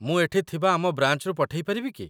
ମୁଁ ଏଠି ଥିବା ଆମ ବ୍ରାଞ୍ଚରୁ ପଠେଇ ପାରିବି କି ?